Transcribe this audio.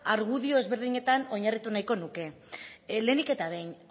argudio desberdinetan oinarritu nahiko nuke lehenik eta behin